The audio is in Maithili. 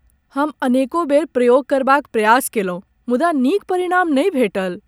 हम अनेकों बेर प्रयोग करबाक प्रयास कयलहुँ मुदा नीक परिणाम नहि भेटल।